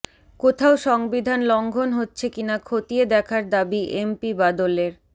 কোথাও সংবিধান লংঘন হচ্ছে কিনা খতিয়ে দেখার দাবি এমপি বাদলের